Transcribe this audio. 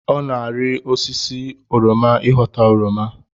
Ọ na-ari osisi oroma ịghọta oroma